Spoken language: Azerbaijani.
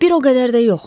Bir o qədər də yox.